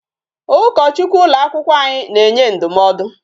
Ụkọchukwu ụlọ akwụkwọ na-enye ndụmọdụ.